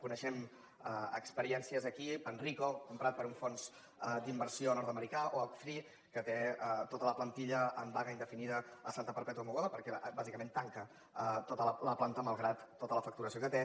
coneixem experiències aquí panrico comprat per un fons d’inversió nord americà oaktree que té tota la plantilla en vaga indefinida a santa perpètua de mogoda perquè bàsicament tanca tota la planta malgrat tota la facturació que té